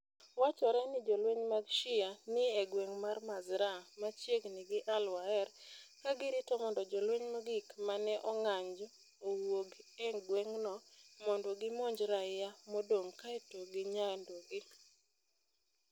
Wachore ni jolweny mag Shia ni e gweng ' mar Mazraa (machiegni gi al-Waer) ka girito mondo jolweny mogik ma ne ong'anjo owuog e gweng'no mondo gimonj raia modong ' kae to ginyandogi.